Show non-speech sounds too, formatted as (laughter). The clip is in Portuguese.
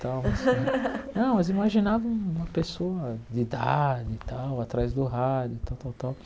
Tal (laughs) não, mas imaginava um uma pessoa de idade, e tal, atrás do rádio, tal, tal, tal.